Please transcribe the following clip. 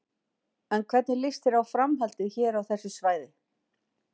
En hvernig líst þér á framhaldið hér á þessu svæði?